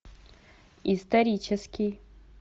исторический